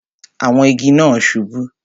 Àwọn igi náà subú